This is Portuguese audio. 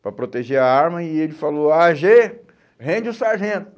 Para proteger a arma e ele falou, á gê, rende o sargento.